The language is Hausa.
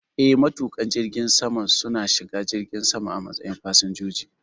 Eh, matuƙan jirgin sama su na shiga jirgin sama a matsayin fasinjoji